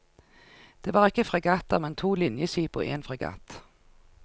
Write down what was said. Det var ikke fregatter, men to linjeskip og en fregatt.